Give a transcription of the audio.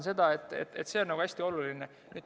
See on hästi oluline.